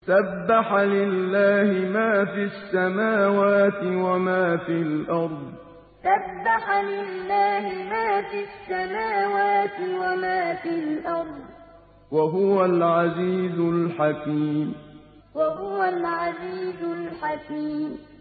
سَبَّحَ لِلَّهِ مَا فِي السَّمَاوَاتِ وَمَا فِي الْأَرْضِ ۖ وَهُوَ الْعَزِيزُ الْحَكِيمُ سَبَّحَ لِلَّهِ مَا فِي السَّمَاوَاتِ وَمَا فِي الْأَرْضِ ۖ وَهُوَ الْعَزِيزُ الْحَكِيمُ